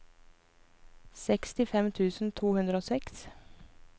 sekstifem tusen to hundre og seks